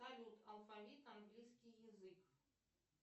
салют алфавит английский язык